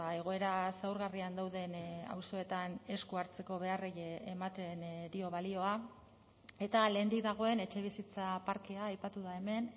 egoera zaurgarrian dauden auzoetan esku hartzeko beharrei ematen dio balioa eta lehendik dagoen etxebizitza parkea aipatu da hemen